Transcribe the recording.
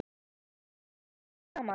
Þetta kemur allt saman.